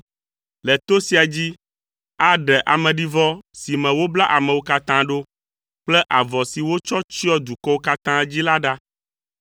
Le to sia dzi, aɖe ameɖivɔ si me wobla amewo katã ɖo kple avɔ si wotsɔ tsyɔ dukɔwo katã dzi la ɖa.